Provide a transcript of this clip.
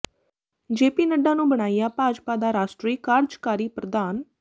JP ਨੱਢਾ ਨੂੰ ਬਣਾਇਆ ਭਾਜਪਾ ਦਾ ਰਾਸ਼ਟਰੀ ਕਾਰਜਕਾਰੀ ਪ੍ਰਧਾਨ